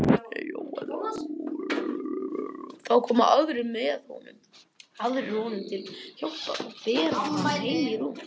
Þá koma aðrir honum til hjálpar og bera hann heim í rúm.